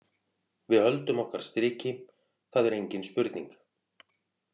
Við höldum okkar striki, það er engin spurning.